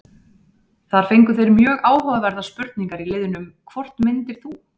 Þar fengu þeir mjög áhugaverðar spurningar í liðnum: Hvort myndir þú?